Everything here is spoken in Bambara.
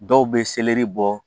Dɔw bɛ seleri bɔ